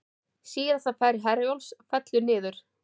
Síðasta ferð Herjólfs fellur niður